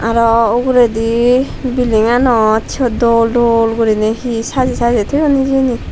aro uguredi bilinganot syot dol dol guriney he sajey sajey toyon hijeni.